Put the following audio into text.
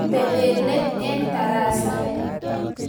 Tepe let eng tarasa.